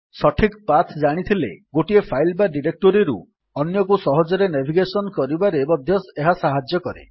ସଠିକ ପାଥ୍ ଜାଣିଥିଲେ ଗୋଟିଏ ଫାଇଲ୍ ବା ଡିରେକ୍ଟୋରୀରୁ ଅନ୍ୟକୁ ସହଜ ନେଭିଗେଶନ୍ କରିବାରେ ମଧ୍ୟ ଏହା ସାହାଯ୍ୟ କରେ